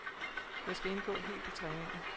Jeg skal indgå helt i træningen.